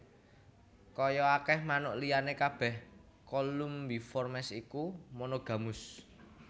Kaya akèh manuk liyané kabèh Columbiformes iku monogamus